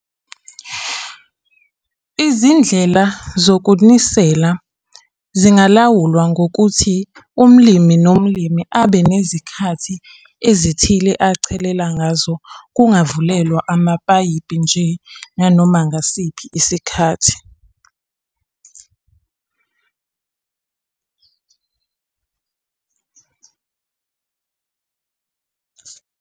Izindlela zokunisela zingalawulwa ngokuthi umlimi, nomlimi abe nezikhathi ezithile achelela ngazo kungavulelwa amapayipi nje nanoma ngasiphi isikhathi.